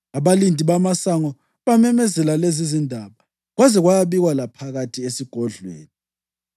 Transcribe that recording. Abalindi bamasango bamemezela lezizindaba, kwaze kwayabikwa laphakathi esigodlweni.